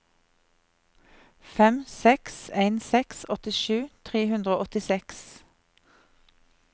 fem seks en seks åttisju tre hundre og åttiseks